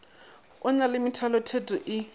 e na le methalotheto e